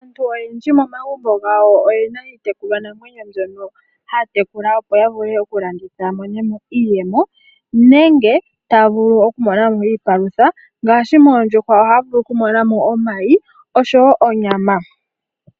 Aantu oyendji momagumbo gawo oyena mo iitekulwa namweno mbyono haya tekula opo ya vule oku landitha opo yi imonene mo iiyemo nenge taya vulu ya mone mo iipalutha ngaashi moondjuhwa ohaya vulu okumona mo omayi oshowo onyama.